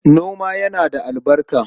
Noma yana da albarka.